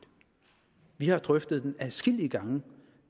vi har drøftet den adskillige gange